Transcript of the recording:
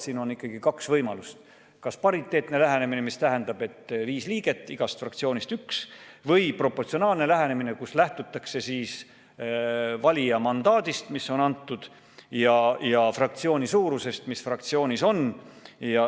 Siin on ikkagi kaks võimalust: kas pariteetne lähenemine, mis tähendab, et on viis liiget, igast fraktsioonist üks, või proportsionaalne lähenemine, kus lähtutakse valijate mandaadist, mis on antud, ja fraktsiooni suurusest.